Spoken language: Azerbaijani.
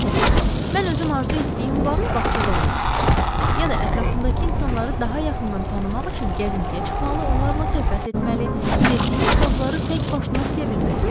Məsələn, mən özüm arzu etdiyim vaxt bağçada oynamalıyam, ya da ətrafındakı insanları daha yaxından tanımaq üçün gəzintiyə çıxmalı, onlarla söhbət etməli, sevdiyim kitabları təkbaşına oxuya bilməliyəm.